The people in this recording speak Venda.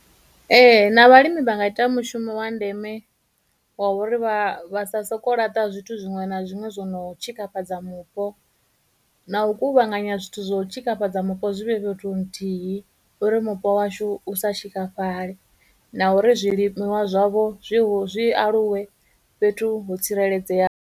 Ee, na vhalimi vha nga ita mushumo wa ndeme wa uri vha vha sa soko laṱa zwithu zwiṅwe na zwiṅwe zwo no tshikafhadza mupo, na u kuvhanganya zwithu zwo tshikafhadza mupo zwi vhe fhethu nthihi uri mupo washu u sa tshikafhale, na uri zwilimiwa zwavho zwi aluwe fhethu ho tsireledzea.